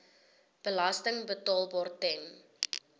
belasting betaalbaar ten